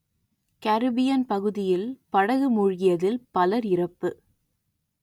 Caribbean பகுதியில் படகு மூழ்கியதில் பலர் இறப்பு